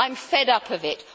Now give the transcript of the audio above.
I am fed up of it.